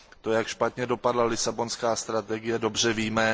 To, jak špatně dopadla Lisabonská strategie, dobře víme.